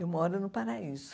Eu moro no Paraíso.